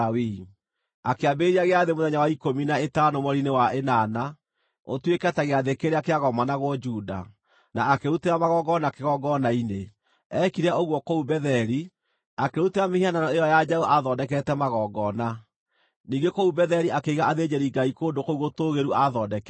Akĩambĩrĩria gĩathĩ mũthenya wa ikũmi na ĩtano mweri-inĩ wa ĩnana, ũtuĩke ta gĩathĩ kĩrĩa kĩagomanagwo Juda, na akĩrutĩra magongona kĩgongona-inĩ. Eekire ũguo kũu Betheli, akĩrutĩra mĩhianano ĩyo ya njaũ aathondekete magongona. Ningĩ kũu Betheli akĩiga athĩnjĩri-ngai kũndũ kũu gũtũũgĩru aathondekete.